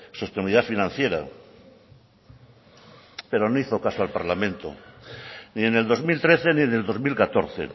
sostenibilidad financiera pero no hizo caso al parlamento ni en el dos mil trece ni en el dos mil catorce